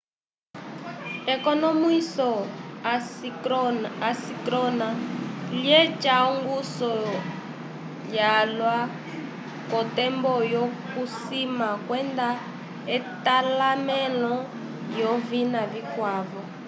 ekonomwiso assíncrona lyeca ongusu yalwa k'otembo yokusima kwenda etalamẽlo lyovina vikwavo